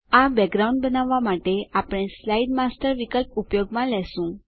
આ બેકગ્રાઉન્ડ બનાવવાં માટે આપણે સ્લાઇડ માસ્ટર વિકલ્પ ઉપયોગમાં લેશું